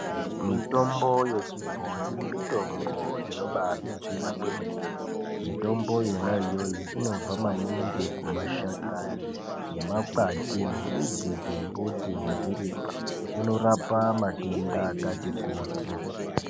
Mitombo yechibhoyi mitombo inobaadetsera kwemene mitombo yona iyoyo inobva maningi kumashakani nemakwati nemidzi dzembuti nezvirimwa. Inorapa matenda akati kuti.